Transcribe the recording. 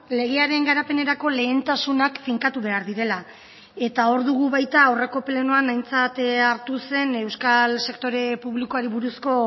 legearen garapenerako lehentasunak finkatu behar direla eta hor dugu baita aurreko plenoan aintzat hartu zen euskal sektore publikoari buruzko